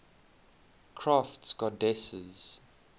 crafts goddesses